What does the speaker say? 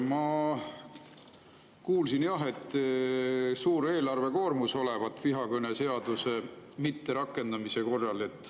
Ma kuulsin jah, et suur eelarvekoormus olevat vihakõneseaduse mitterakendamise korral.